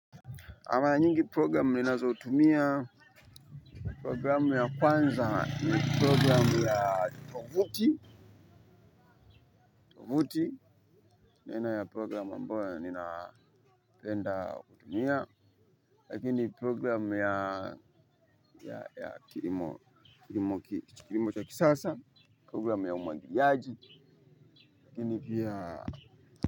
Ama nyingi programu ninazotumia programu ya kwanza ni programu ya tovuti ni aina ya programu ambayo ninapenda kutumia lakini programu ya kilimo cha kisasa programu ya umwagiliaji, lakini pia.